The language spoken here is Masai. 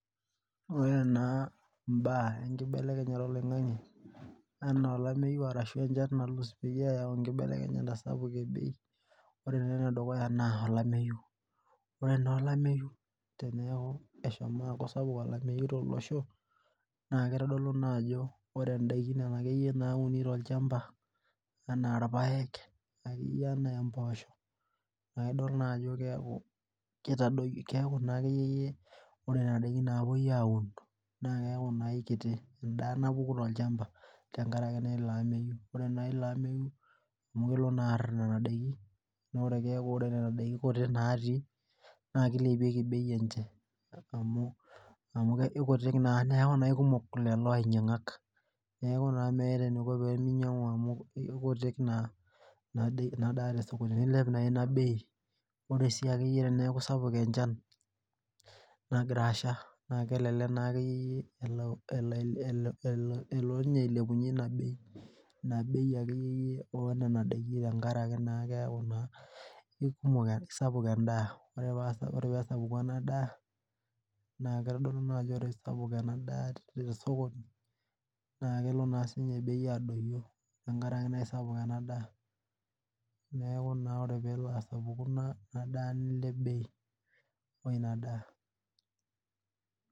Ore naa imbaa enkibelekenyata oloing'ang'e anaa olameyu arashu enchan nalus peyie eyau enkibelekenyata sapuk e bei ore taa enedukuya naa olameyu ore naa olameyu teneeku eshomo aaku sapuk olameyu tolosho naa keitodolu naa ajo ore indaiki nena akeyie nauni tolchamba anaa irpayek akeyie anaa empoosho naidol naa ajo keeku kitadoyio keeku naa akeyie yie ore nena daikin naapuoi aun naa keeku naa ikiti endaa napuku tolchamba tenkarake naa ilo ameyu ore naa ilo ameyu amu kelo naa arr nana daiki nore keeku ore nena daiki kuti natii naa kilepieki bei enche amu amu ikutik naa neeku naa aikumok lelo ainyiang'ak neeku naa meeta eniko penyiang'u amu ikutik ina daa tesokoni nilep naa ina bei ore sii ajkeyie teneeku sapuk enchan nagira asha naa kelelek naa akeyie yie elo elo inye ailepunyie ina bei ina bei akeyie yie onena daiki tenkarake naa keeku naa ikumok isapuk endaa ore pesapuku ena daa naa kitodolu naajo ore isapuk ena daa te sokoni naa kelo naa siinye bei adoyio tenkarake naa aisapuk ena daa neeku naa ore peelo asapuku ina daa bei nilep bei oina daa.